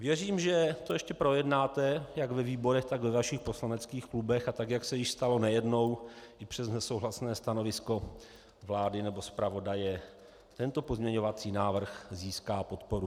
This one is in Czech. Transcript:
Věřím, že to ještě projednáte jak ve výborech, tak ve vašich poslaneckých klubech a tak, jak se již stalo nejednou, i přes nesouhlasné stanovisko vlády nebo zpravodaje tento pozměňovací návrh získá podporu.